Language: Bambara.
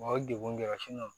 Wa o degun dɔ